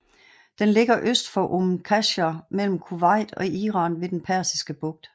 Den ligger øst for Umm Qasr mellem Kuwait og Iran ved den Persiske Bugt